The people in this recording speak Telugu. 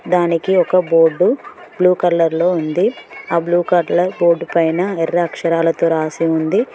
దానికి ఒక బోర్డు బ్లూ కలర్ లో ఉంది ఆ బ్లూ కలర్ బోర్డు పైనా ఎర్ర అక్షరాలతో రాసి ఉంది.